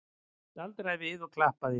Staldraði við og klappaði!